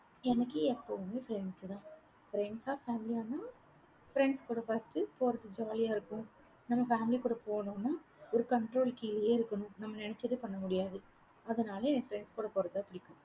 எனக்கு எப்பவுமே friends தான். friends ஆ family யானா, friends கூட first போறதுக்கு jolly ஆ இருக்கும். நம்ம family கூட போகணும்னா ஒரு control கீழேயே இருக்கணும். நம்ம நினைச்சதை பண்ண முடியாது. அதனால என் friends கூட போறது தான் பிடிக்கும்.